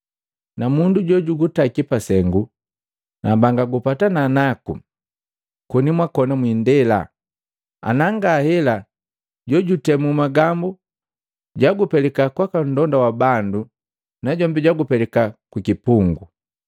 Na mundu jo jugutaki pasengu, nambanga gupatana naku koni mwakona mwindela, ana nga hela jojutemu magambu jagupelika kwaka mlonda wa bandu najombi jagupelika kukipungu.